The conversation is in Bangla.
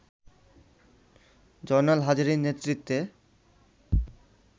জয়নাল হাজারীর নেতৃত্বে